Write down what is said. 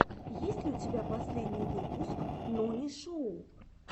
есть ли у тебя последний выпуск нонишоу